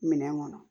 Minɛn kɔnɔ